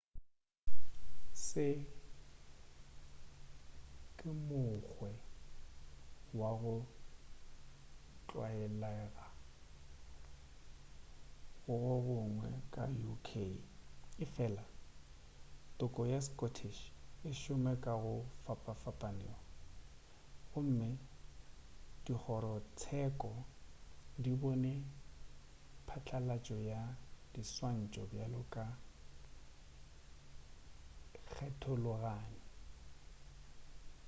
se ke mokgwe wa go tlwaelega go gongwe ka uk efela toko ya scottish e šoma ka go fapanego gomme dikgorotsheko di bone patlalatšo ya diswantšho bjalo ka kgethologanyo